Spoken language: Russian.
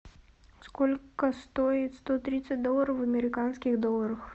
сколько стоит сто тридцать долларов в американских долларах